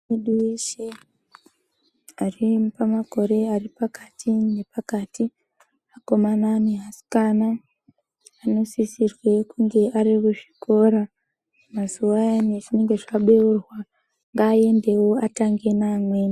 Muntu weshe aripamakore aripakati nepakati akomana neasikana anosisirwe kunge arikuzvikora mazuwa ayani azvinenge zvabeurwa ngaendewo atange neamweni.